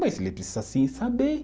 Mas ele precisa sim saber.